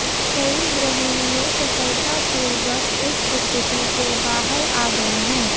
कई गृहिणियों सफलतापूर्वक इस स्थिति से बाहर आ गए हैं